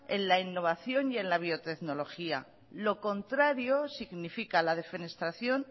en la innovación y en la biotecnología lo contrario significa la defenestración